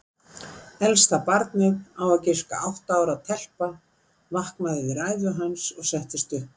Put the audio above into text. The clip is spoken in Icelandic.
Elsta barnið, á að giska átta ára telpa, vaknaði við ræðu hans og settist upp.